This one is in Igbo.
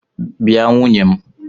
Bịa nwunye m!